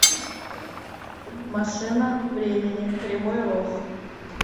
машина времени кривой рог